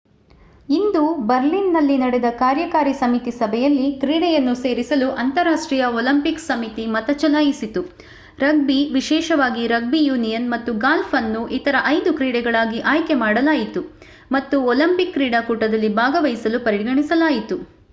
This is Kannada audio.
ಇಂದು ಬರ್ಲಿನ್‌ನಲ್ಲಿ ನಡೆದ ಕಾರ್ಯಕಾರಿ ಸಮಿತಿ ಸಭೆಯಲ್ಲಿ ಕ್ರೀಡೆಯನ್ನು ಸೇರಿಸಲು ಅಂತರರಾಷ್ಟ್ರೀಯ ಒಲಿಂಪಿಕ್ ಸಮಿತಿ ಮತ ಚಲಾಯಿಸಿತು. ರಗ್ಬಿ ವಿಶೇಷವಾಗಿ ರಗ್ಬಿ ಯೂನಿಯನ್ ಮತ್ತು ಗಾಲ್ಫ್ ಅನ್ನು ಇತರ ಐದು ಕ್ರೀಡೆಗಳಾಗಿ ಆಯ್ಕೆ ಮಾಡಲಾಯಿತು ಮತ್ತು ಒಲಿಂಪಿಕ್ ಕ್ರೀಡಾಕೂಟದಲ್ಲಿ ಭಾಗವಹಿಸಲು ಪರಿಗಣಿಸಲಾಯಿತು